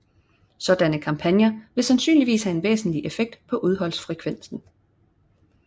Sådanne kampagner vil sandsynligvis have en væsentlig effekt på uheldsfrekvensen